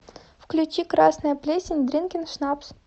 включи красная плесень дринкен шнапс